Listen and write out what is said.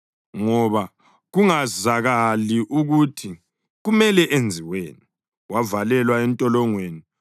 ngoba kungakazakali ukuthi kumele enziweni; wavalelwa entolongweni.